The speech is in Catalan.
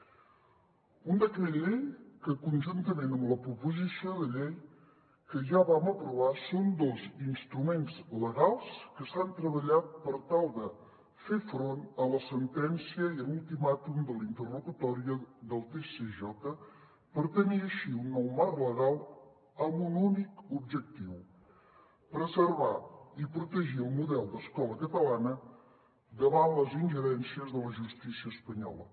un decret llei que conjuntament amb la proposició de llei que ja vam aprovar són dos instruments legals que s’han treballat per tal de fer front a la sentència i a l’ultimàtum de la interlocutòria del tsj per tenir així un nou marc legal amb un únic objectiu preservar i protegir el model d’escola catalana davant les ingerències de la justícia espanyola